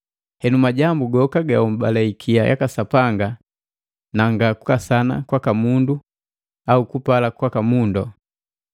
Henu majambu goka gahobale ikia yaka Sapanga na nga kukasana kwaka mundu au kupala kwaka mundu.